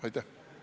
Aitäh!